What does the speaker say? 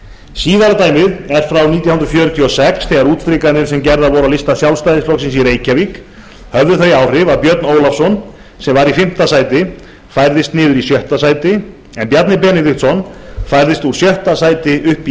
síðara dæmið er frá nítján hundruð fjörutíu og sex þegar útstrikanir sem gerðar voru á lista sjálfstæðisflokksins í reykjavík höfðu þau áhrif að björn ólafsson sem var í fimmta sæti færðist niður í sjötta sæti en bjarni benediktsson færðist úr sjötta sæti upp í